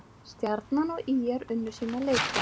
Stjarnan og ÍR unnu sína leiki